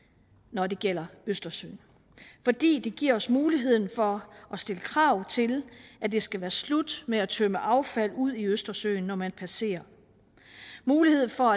når det gælder østersøen fordi det giver os muligheden for at stille krav til at det skal være slut med at tømme affald ud i østersøen når man passerer muligheden for